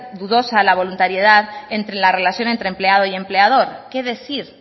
dudosa la voluntariedad entre la relación entre empleado y empleador qué decir